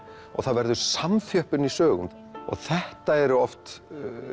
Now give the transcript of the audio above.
og það verður samþjöppun í sögum þetta er oft